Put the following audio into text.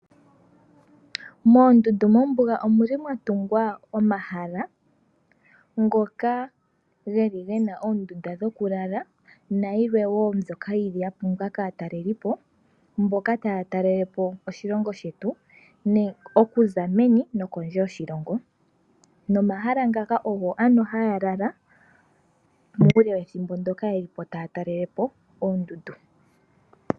Moondundu mombuga omwa tungwa omahala ngoka ge na oondunda dhokulala nayilwe woo mbyoka ya pumbiwa kaatalelipo, mboka taya talele po oshilongo shetu okuza meni nokondje yoshilongo nomomahala muka omo haya lala muule wethimbo ndyoka taya talele po oondundu.